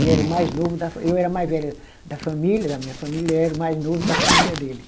Ele era o mais novo da fa, eu era a mais velha da família, da minha família, e ele era o mais novo da família dele.